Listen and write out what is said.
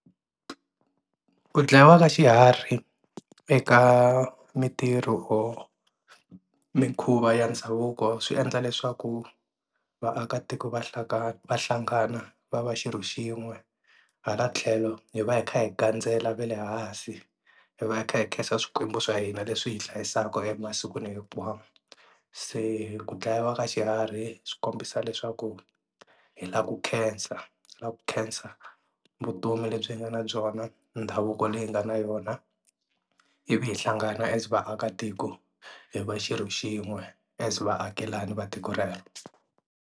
Ku dlayiwa ka xiharhi eka mintirho mikhuva ya ndhavuko swi endla leswaku vaakatiko vahlakani va hlangana va va xilo xin'we, hala tlhelo hi va hi kha hi gandzela va le hansi hi va hi kha hi khensa swikwembu swa hina leswi hi hlayisaka a masikwini hinkwawo se ku dlayiwa ka xiharhi swi kombisa leswaku hi lava ku khensa ku khensa vutomi lebyi nga na byona ndhavuko leyi hi nga na yona ivi hi hlangana as vaakatiko hi va xirho xin'we as vaakelani va tiko rero.